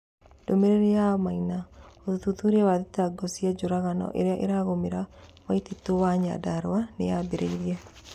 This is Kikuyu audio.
Ndũmĩrĩri ya Maina: Ũthuthuria wa thitango cia njũragano iria iragũmira Waititu nĩ Nyandarua nĩambĩrĩirie.